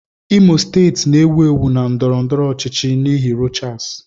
Imo steeti na-ewu ewu na ndọrọ ndọrọ ọchịchị n'ihi Rochas.